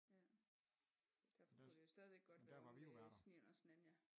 Ja derfor kunne det jo stadigvæk godt være ved Snen og Snanja